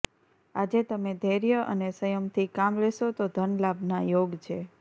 આજે તમે ધૈર્ય અને સંયમથી કામ લેશો તો ધનલાભના યોગ છે